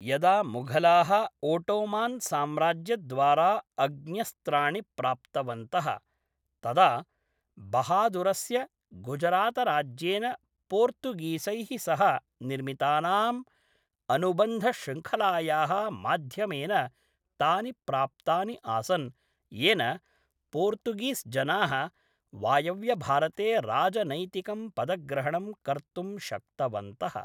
यदा मुघलाः ओटोमान्साम्राज्यद्वारा अग्न्यस्त्राणि प्राप्तवन्तः, तदा बहादुरस्य गुजरातराज्येन पोर्तुगीसैः सह निर्मितानाम् अनुबन्धश्रृङ्खलायाः माध्यमेन तानि प्राप्तानि आसन्, येन पोर्तुगीस्जनाः वायव्यभारते राजनैतिकं पदग्रहणं कर्तुं शक्तवन्तः।